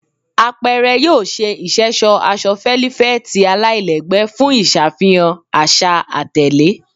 Apẹrẹ yoo ṣe iṣẹṣọ aṣọ felifeti alailẹgbẹ fun iṣafihan aṣa atẹle